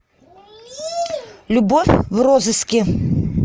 любовь в розыске